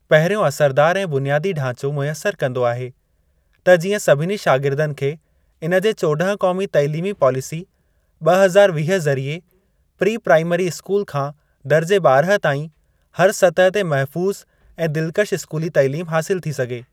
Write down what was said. पहिरियों असरदार ऐं बुनियादी ढांचो मुयसर कंदो आहे त जीअं सभिनी शागिर्दनि खे इनजे चोड॒हं क़ौमी तैलीमी पॉलिसी ब॒ हज़ार वीह ज़रीए प्री-प्राईमरी स्कूल खां दर्जे ॿारहं ताईं हर सतह ते महफूज़ ऐं दिलकश स्कूली तैलीम हासिल थी सघे।